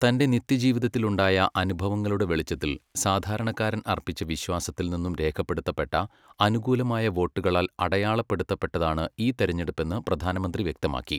തന്റെ നിത്യജീവിതത്തിൽ ഉണ്ടായ അനുഭവങ്ങളുടെ വെളിച്ചത്തിൽ സാധാരണക്കാരൻ അർപ്പിച്ച വിശ്വാസത്തിൽ നിന്നും രേഖപ്പെടുത്തപ്പെട്ട അനുകൂലമായ വോട്ടുകളാൽ അടയാളപ്പെടുത്തപ്പെട്ടതാണ് ഈ തെരഞ്ഞെടുപ്പെന്ന് പ്രധാനമന്ത്രി വ്യക്തമാക്കി.